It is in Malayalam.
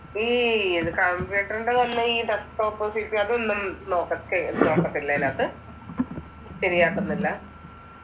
ഈ കമ്പ്യൂട്ടറിന്റെ തന്നെ ഈ ഡെസ്ക്ടോപ്പ് സിപിയു അതൊന്നും ചെക്ക് ചെയ്ത് നോക്കത്തില്ലേ അതിനകത്ത്‌, ശെരിയാക്കുന്നില്ല?